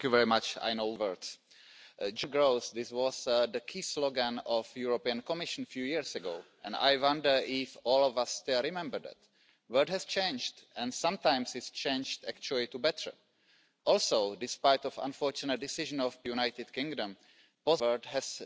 wir die Einstimmigkeit im Gesetzgebungsverfahren! Parlamentarisieren wir alle Entscheidungen! Beschleunigen wir das Verfahren, damit wir noch vor der Wahl bei jedem Anliegen einen konkreten Schritt nach vorne setzen. Der politische Wille zur Gemeinsamkeit kann viel bewirken.